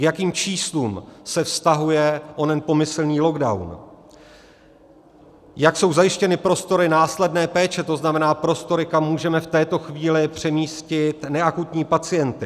K jakým číslům se vztahuje onen pomyslný lockdown, jak jsou zajištěny prostory následné péče, to znamená prostory, kam můžeme v této chvíli přemístit neakutní pacienty.